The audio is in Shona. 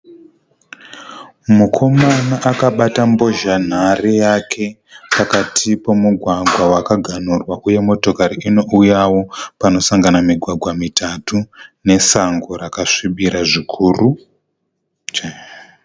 Mukomana akabata mbozhanhare yake, pakati pemugwagwa wakagamurwa. Uye motokari inouyawo panosangana mugwagwa mitatu, nesango rakasvibira zvikuru.